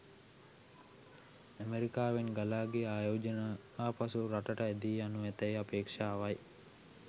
ඇමෙරිකාවෙන් ගලා ගිය ආයෝජන ආපසු එරටට ඇදී යනු ඇතැයි අපේක්ෂාවයි.